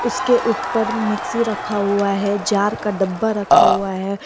उसके ऊपर मिक्सी रखा हुआ है जार का डब्बा रखा हुआ है।